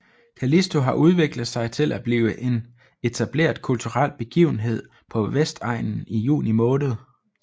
Callisto har udviklet sig til at blive en etableret kulturel begivenhed på Vestegnen i juni måned